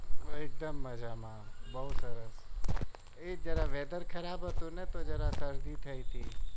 એકદમ મજામાં બહુ સરસ એ જરા weather ખરાબ હતુંને તો જરા શરદી થઇ હતી.